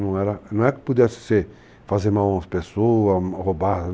Não é que eu pudesse fazer mal às pessoas, roubar.